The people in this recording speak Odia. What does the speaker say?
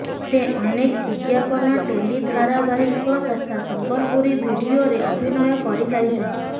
ସେ ଅନେକ ବିଜ୍ଞାପନ ଟେଲି ଧାରା ବାହିକ ତଥା ସମ୍ବଲପୁରୀ ଭିଡିଓରେ ଅଭିନୟ କରିସାରିଛନ୍ତି